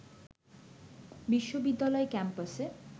বিশ্ববিদ্যালয় ক্যাম্পাসে